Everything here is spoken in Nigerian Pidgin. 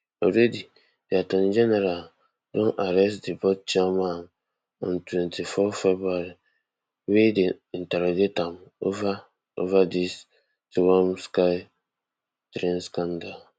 already di attorney general don arrest di board chairman on twenty-four february wey dem interrogate am ova ova dis twom sky train scandal